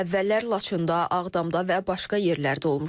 Əvvəllər Laçında, Ağdamda və başqa yerlərdə olmuşam.